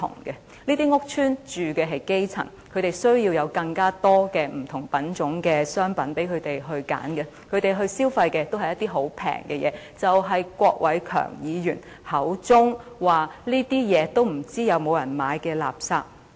這些屋邨的居民是基層，他們需要有更多不同品種的商品讓他們選擇，他們所消費的也是一些十分便宜的東西，即郭偉强議員口中所說不知道是否有人購買的垃圾。